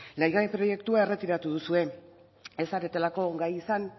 lege proiektua erretiratu duzue ez zaretelako gai izan